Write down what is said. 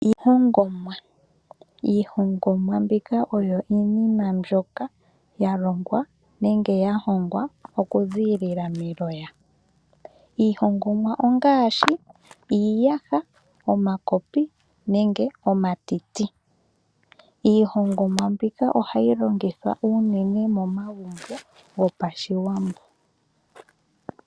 Iihongomwa oyo iinima mbyoka yalongwa nenge yahongwa okuziilila meloya iihongomwa ongaashi iiyaha, omakopi nenge omatiti. Iihongomwa mbika ohayi longithwa unene momagumbo gOshiwambo.